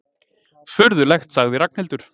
Furðulegt sagði Ragnhildur.